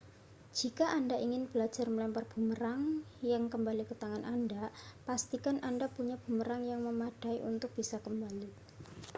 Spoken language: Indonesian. jika anda ingin belajar melempar bumerang yang kembali ke tangan anda pastikan anda punya bumerang yang memadai untuk bisa kembali